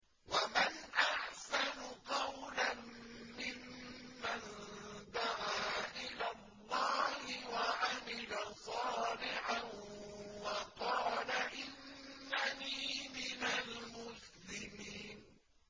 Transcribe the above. وَمَنْ أَحْسَنُ قَوْلًا مِّمَّن دَعَا إِلَى اللَّهِ وَعَمِلَ صَالِحًا وَقَالَ إِنَّنِي مِنَ الْمُسْلِمِينَ